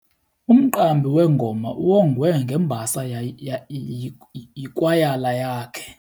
Umqambi wengoma uwongwe ngembasa yikwayala yakhe.